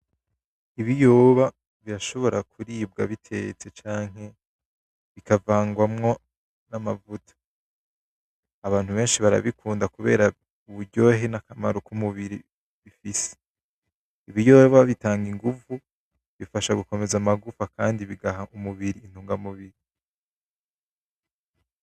Ibiyoba birashobora kuribwa bitetse canke bikavangwamwo n,amavuta , abantu benshi barabikunda kubera uburyohe n'akamaro ku mubiri, bifise ibiyoba bitanga inguvu bifasha gukomeza amagufa kandi bigaha umubiri intunga mubiri .